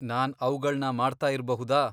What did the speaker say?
ನಾನ್ ಅವ್ಗಳ್ನ ಮಾಡ್ತಾ ಇರ್ಬಹುದಾ?